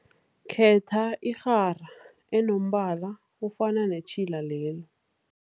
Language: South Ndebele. Khetha irhara enombala ofana netjhila lelo.